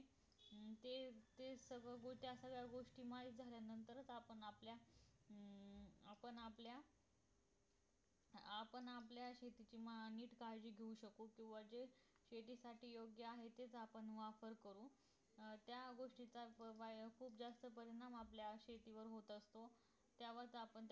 आपण आपल्या शेतीची मा नीट काळजी घेऊ शकतो किंवा जो शेतीसाठी योग्य आहे ते साधन वापरतो अं त्या गोष्टीचा च वापर खूप जास्त प्रमाणात आपल्या शेतीवर होत असतो त्यावरच